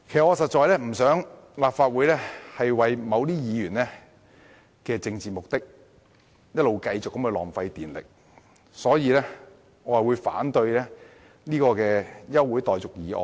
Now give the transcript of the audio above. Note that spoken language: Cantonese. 我不想立法會為某些議員的政治目的而不斷浪費電力，所以我會反對這項休會待續議案。